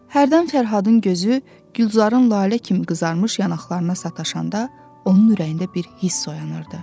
Hərdən Fərhadın gözü Gülzarın lalə kimi qızarmış yanaqlarına sataşanda onun ürəyində bir hiss oyanırdı.